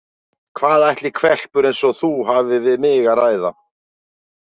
Hvað ætli hvelpur eins og þú hafir við mig að ræða?